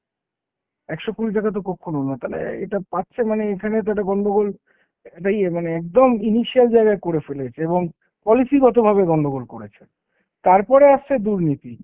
একশো কুড়ি টাকা তো কক্ষনো না। তালে এ~ এটা পাচ্ছে মানে এখানে তো একটা গন্ডগোল, একটা ইয়ে মানে একদম জায়গায় করে ফেলেছে এবং policy গত ভাবে গন্ডগোল করেছে। তারপরে আসছে দুর্নীতি